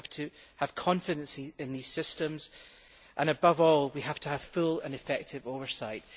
we have to have confidence in these systems and, above all, we have to have full and effective oversight.